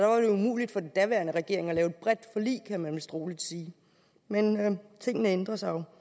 umuligt for den daværende regering at lave et bredt forlig kan man vist roligt sige men tingene ændrer sig jo